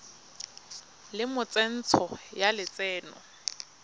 le mo tsentsho ya lotseno